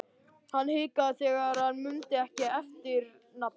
Hann hikaði þegar hann mundi ekki eftirnafnið.